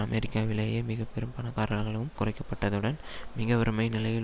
அமெரிக்காவிலேயே மிக பெரும் பணக்காரர்களும் குறைக்கப்பட்டதுடன் மிக வறுமை நிலையில்